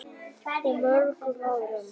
Og mörgum öðrum.